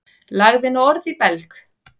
Lagði nú orð í belg.